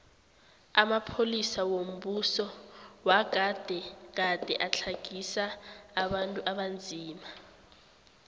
amapolisa wombuso wagade gade atlagisa abantu abanzima